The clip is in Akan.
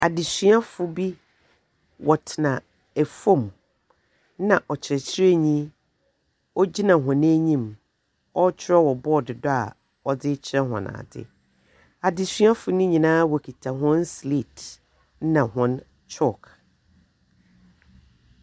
Adesuafo bi wɔtena fam na ɔkyerɛkyerɛni ɔgyina wɔn anim ɔretwerɛ wɔ bɔɔdo so a wɔdze rekyerɛ wɔn ade. Adesuafoɔ no nyinaa wɔkita wɔn slaate na wɔn kyɔlk.